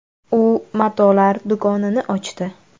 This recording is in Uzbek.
U matolar do‘konini ochdi.